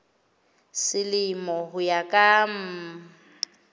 selemo ho ya ka mm